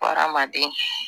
Hadamaden